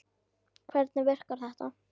Hvernig virkar þetta?